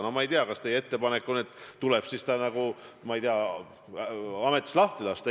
Noh, ma ei tea, kas teie ettepanek on, et tuleb siis ta ametist lahti lasta.